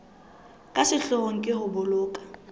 ka sehloohong ke ho boloka